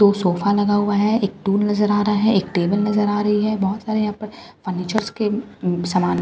दो सोफा लगा हुए है एक टूल नजर आ रहा है एक टेबल नजर आ रही है बोहोत सारे एहपर फर्नीचरस के सामान--